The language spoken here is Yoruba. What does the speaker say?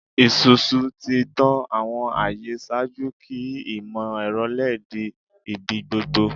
Isusu ti tan awọn aye ṣaaju ki imọ-ẹrọ LED di ibigbogbo